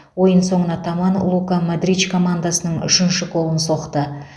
ойын соңына таман лука модрич командасының үшінші голын соқты